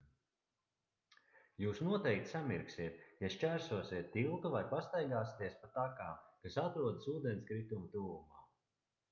jūs noteikti samirksiet ja šķērsosiet tiltu vai pastaigāsieties pa takām kas atrodas ūdenskrituma tuvumā